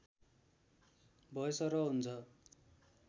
भएसरह हुन्छ